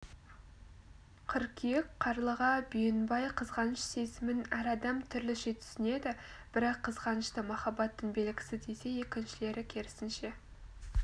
қыркүйек қарлыға бүйенбай қызғаныш сезімін әр адам түрліше түсінеді бірі қызғанышты махаббаттың белгісі десе екіншілері керісінше